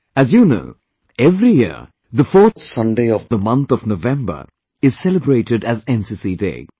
As you know, every year, the fourth Sunday of the month of November is celebrated as NCC Day